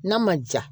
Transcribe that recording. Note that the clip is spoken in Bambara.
N'a ma ja